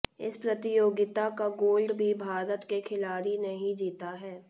इस प्रतियोगिता का गोल्ड भी भारत के खिलाड़ी ने ही जीता है